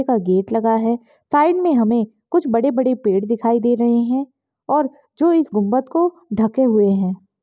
Gate लगा है side मे हमे कुछ बड़े-बड़े पेड़ दिखाई दे रहे है और जो इस गुम्मत को ढ़केल रहे है।